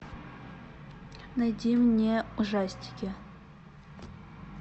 найди мне ужастики